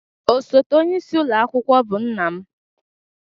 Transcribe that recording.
Osote onyeisi ụlọ akwụkwọ bụ nna m.